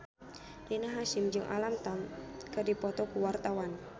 Rina Hasyim jeung Alam Tam keur dipoto ku wartawan